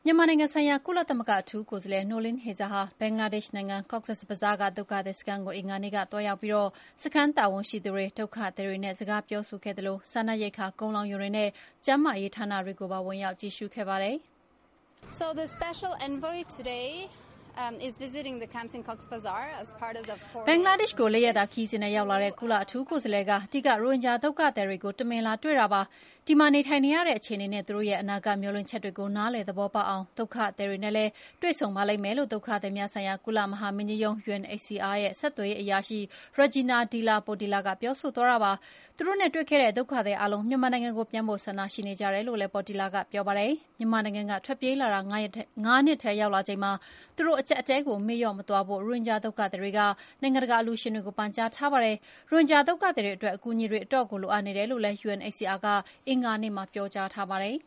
မြန်မာနိုင်ငံဆိုင်ရာ ကုလသမဂ္ဂအထူးကိုယ်စားလှယ် Noeleen Heyzer ဟာ ဘင်္ဂလားဒေ့ရှ်နိုင်ငံ Cox’s Bazar က ဒုက္ခသည်စခန်းကို အင်္ဂါနေ့က သွားရောက်ပြီး စခန်းတာဝန်ရှိသူတွေ၊ ဒုက္ခသည်တွေနဲ့ စကားပြောဆိုခဲ့သလို စားနပ်ရိက္ခာ ကုန်လှောင်ရုံတွေနဲ့ ကျန်းမာရေးဌာနတွေကိုပါ ဝင်ရောက်ကြည့်ရှုခဲ့ပါတယ်။ "ဘင်္ဂလားဒေ့ရှ်ကို ၄ ရက်တာခရီးစဉ်နဲ့ရောက်လာတဲ့ ကုလအထူးကိုယ်စားလှယ်က ဒီက ရိုဟင်ဂျာဒုက္ခသည်တွေကို တမင် လာတွေ့ပါတယ်။ ဒီမှာနေထိုင်ရတဲ့ အခြေအနေနဲ့ သူတို့ရဲ့ အနာဂတ်မေ ျှာ်လင့်ချက်တွေကို နားလည်သဘောေပေါက်အောင် ဒုက္ခသည်တွေနဲ့လည်း တွေ့ဆုံပါလိမ့်မယ်လို့ ဒုက္ခသည်များဆိုင်ရာ ကုလသမဂ္ဂမဟာမင်းကြီးရုံး UNHCR ဆက်သွယ်ရေးအရာရှိ Regina De La Portilla ကပြောဆိုသွားတာပါ။ သူတို့နဲ့တွေ့ခဲ့တဲ့ ဒုက္ခသည် အားလုံး မြန်မာနိုင်ငံကို ပြန်ဖို့ ဆန္ဒရှိနေကြတယ်လို့လည်း Portilla ကပြောပါတယ်။ မြန်မာနိုင်ငံက ထွက်ပြေးလာတာ ၅ နှစ်ထဲရောက်လာချိန်မှာ သူတို့ အကျပ်အတည်း ကို မေ့လေ ျှာ့မသွားဖို့ ရိုဟင်ဂျာဒုက္ခသည်တွေက နိုင်ငံတကာအလျှူရှင်တွေကို ပန်ကြားထားကြပါတယ်။ ရိုဟင်ဂျာဒုက္ခသည်တွေအတွက် အကူအညီတွေ အတော့်ကို လိုအပ်နေတယ်လို့ UNHCR ကလည်း အင်္ဂါနေ့မှာ ပြောကြားထားပါတယ်